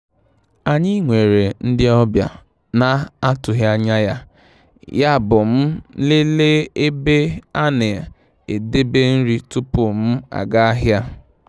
Anyị nwere ndị ọbịa na-atụghị anya ya, yabụ m lelee ebe a na-edebe nri tupu m aga ahịa.